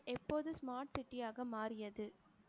எப்போது smart city யாக மாறியது